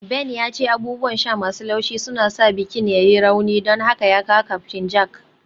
Ben ya ce abubuwan sha masu laushi suna sa bikin ya yi rauni, don haka ya kawo Captain Jack